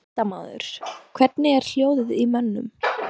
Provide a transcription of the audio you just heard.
Fréttamaður: Hvernig er hljóðið í mönnum?